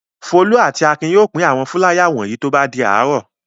Folú àti Akin yóò pín àwọn fúláyà wọ̀nyí tó bá di àárọ̀.